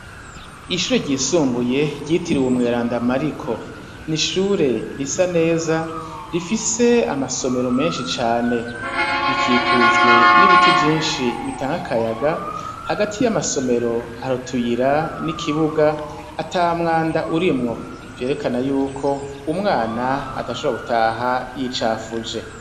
Ishure ryisumbuye ryitiriwe umweranda Mariko ni ishure risa neza, rifise amasomero menshi cane; rikikujwe n'ibiti vyinshi bitanga akayaga, hagati y'amasomero hari utuyira n'ikibuga, ata mwanda urimwo; vyerekana y'uko umwana adashobora gutaha yicafuje.